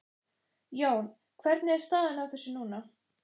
Jón, hvernig er staðan á þessu núna?